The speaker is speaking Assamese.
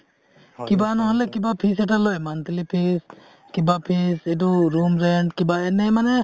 কিবা নহলে কিবা fees এটা লয় monthly fees কিবা fees এইটো room rent এনে মানে